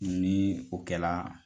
Ni o kɛla